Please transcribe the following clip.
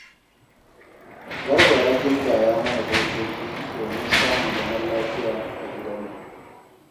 Garba ya gindaya mana dokoki domin samun zaman lafiya a gidanmu